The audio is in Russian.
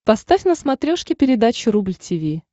поставь на смотрешке передачу рубль ти ви